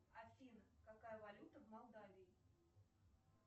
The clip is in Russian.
афина какая валюта в молдавии